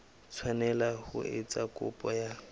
tshwanela ho etsa kopo ya